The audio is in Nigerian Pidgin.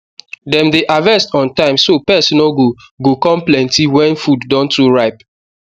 dem dey harvest on time so pest no go go come plenty when food don too ripe